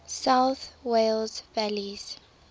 south wales valleys